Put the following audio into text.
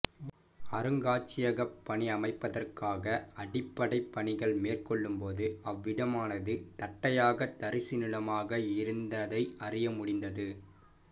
அருங்காட்சியகப் பணி அமைப்பதற்காக அடிப்படைப் பணிகள் மேற்கொள்ளும்போது அவ்விடமானது தட்டையாக தரிசு நிலமாக இருந்ததை அறியமுடிந்தது